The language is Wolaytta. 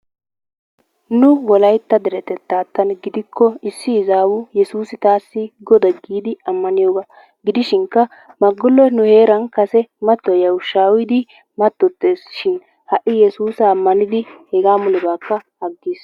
Nu wolaytta deretettaadan gidikko issi izzaawu yesuusu taassi goda giidi ammaniyogaa gidishinkka maguloy nu heeran kase matoyiya ushshaa uyidi matoteees shin ha'i yesuusa ammanidi hegaa mulebakka agiis.